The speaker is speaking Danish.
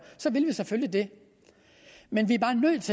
så vil vi selvfølgelig det men